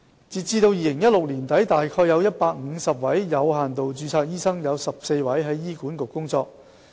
截至2016年年底，有限度註冊醫生約有150人，其中14人在醫管局工作。